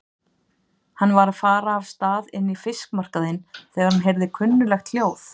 Hann var að fara af stað inn í fiskmarkaðinn þegar hann heyrði kunnuglegt hljóð.